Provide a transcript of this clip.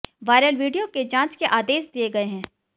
viral video के जांच के आदेश दिए गए हैं